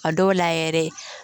A dɔw la yɛrɛ